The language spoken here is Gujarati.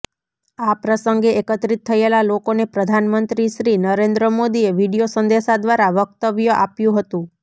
આ પ્રસંગે એકત્રિત થયેલા લોકોને પ્રધાનમંત્રી શ્રી નરેન્દ્ર મોદીએ વીડિયો સંદેશા દ્વારા વ્યક્તવ્ય આપ્યું હતું